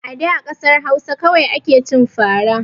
A da kasar Hausa kawai ake cin fara